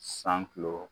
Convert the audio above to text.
San kulo